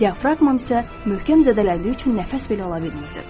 Diafraqmam isə möhkəm zədələndiyi üçün nəfəs belə ala bilmirdim.